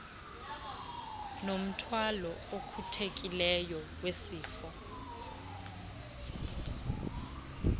nomthwalo ocuthekileyo wezifo